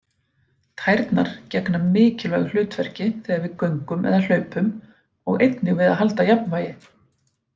Tærnar gegna mikilvægu hlutverki þegar við göngum eða hlaupum og einnig við að halda jafnvægi.